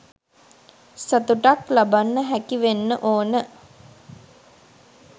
සතුටක් ලබන්න හැකි වෙන්න ඕන.